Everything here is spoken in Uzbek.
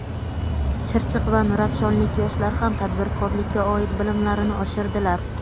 Chirchiq va Nurafshonlik yoshlar ham tadbirkorlikka oid bilimlarini oshirdilar.